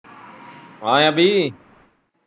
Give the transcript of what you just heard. ਹਾਂ ਅਭੀ ।